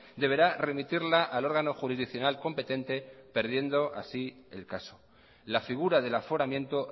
deberá remitirla al órgano jurisdiccional competente perdiendo así el caso la figura del aforamiento